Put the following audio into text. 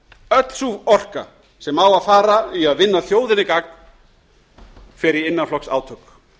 öll sú orka sem á að fara í að vinna þjóðinni gagn fer í innanflokksátök